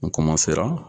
N